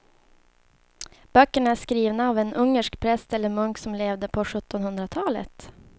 Böckerna är skrivna av en ungersk präst eller munk som levde på sjuttonhundratalet.